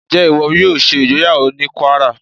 Ǹjẹ́ ìwọ yóò ṣe ìgbéyàwó ní Kwárà?